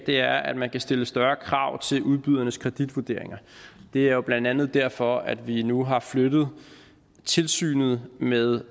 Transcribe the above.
er at man kan stille større krav til udbydernes kreditvurderinger det er jo blandt andet derfor at vi nu har flyttet tilsynet med